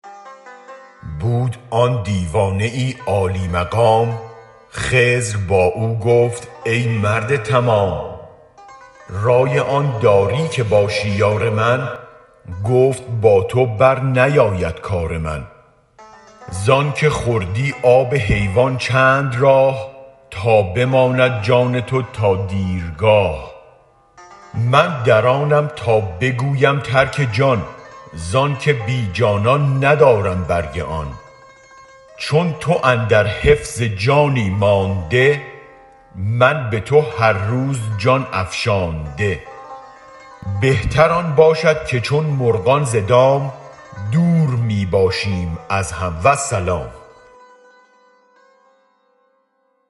بود آن دیوانه عالی مقام خضر با او گفت ای مرد تمام رای آن داری که باشی یار من گفت با تو برنیاید کار من زآنک خوردی آب حیوان چند راه تا بماند جان تو تا دیرگاه من در آنم تا بگویم ترک جان زآنک بی جانان ندارم برگ آن چون تو اندر حفظ جانی مانده من به تو هر روز جان افشانده بهتر آن باشد که چون مرغان ز دام دور می باشیم از هم والسلام